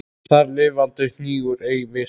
Þar lifandi hnígur ei vessi.